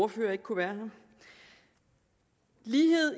ordfører ikke kunne være her lighed